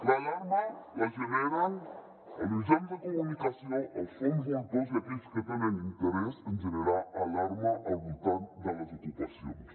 l’alarma la generen els mitjans de comunicació els fons voltors i aquells que tenen interès en generar alarma al voltant de les ocupacions